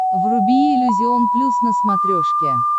вруби иллюзион плюс на смотрешке